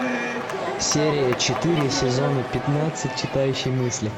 серия четыре сезона пятнадцать читающий мысли